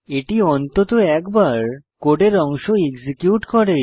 এটি অন্তত একবার কোডের অংশ এক্সিকিউট করবে